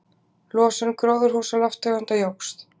Losun gróðurhúsalofttegunda jókst